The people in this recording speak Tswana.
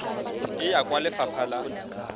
e ya kwa lefapha la